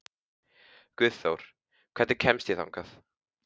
Guðþór, hvernig kemst ég þangað?